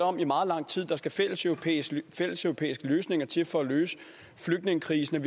om i meget lang tid at der skal fælleseuropæiske fælleseuropæiske løsninger til for at løse flygtningekrisen